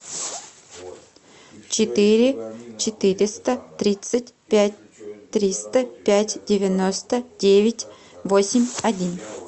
четыре четыреста тридцать пять триста пять девяносто девять восемь один